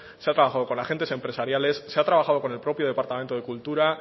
se ha trabajado con agentes empresariales se ha trabajado con el propio departamento de cultura